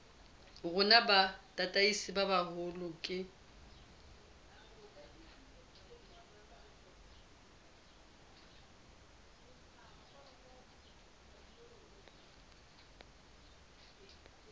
rona bo tataiswe haholo ke